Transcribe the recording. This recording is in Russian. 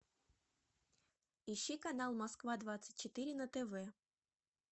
ищи канал москва двадцать четыре на тв